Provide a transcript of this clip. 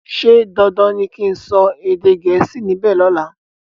ṣe dandan ní kín sọ èdè Gẹ̀ẹ́sì níbè lola?